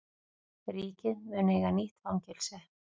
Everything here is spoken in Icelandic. Ríkið mun eiga nýtt fangelsi